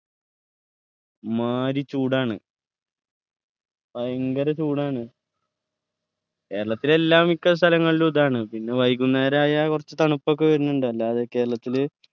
എമ്മാരി ചൂടാണ് ഭയങ്കര ചൂടാണ് കേരളത്തിൽ എല്ലാ മിക്ക സ്ഥലങ്ങളിലും ഇതാണ് പിന്നെ വൈകുന്നേരം ആയാൽ കുറച്ച് തണുപ്പൊക്കെ വരുന്നുണ്ട് അല്ലാതെ കേരളത്തില്